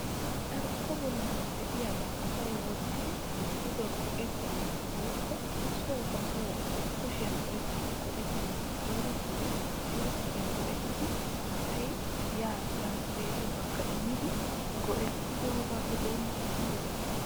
Carkko bollan de'iyaabaa asay wottidi go"ettanassi wotkko soo ba soo kushiyaan oyqqidi go"ettanawu koyrottidi silkkiyaa go"ettidi asay yaa tiraspeeriyoogakka immidi go"ettidogappe doommidaagan soo ehes.